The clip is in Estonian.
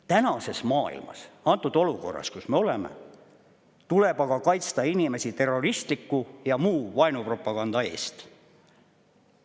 Tänases maailmas, antud olukorras, kus me oleme, tuleb aga kaitsta inimesi terroristliku ja muu vaenupropaganda eest.